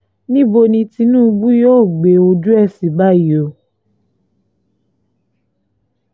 níbo ni tinubu yóò gbé ojú ẹ̀ sí báyìí o